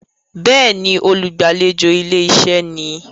Béèni, olùgbàlejò ilé-iṣẹ́ ni.